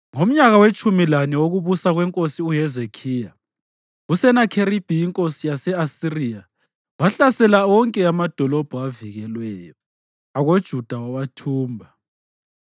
Ngomnyaka wetshumi lane wokubusa kwenkosi uHezekhiya, uSenakheribhi inkosi yase-Asiriya wahlasela wonke amadolobho avikelweyo akoJuda wawathumba.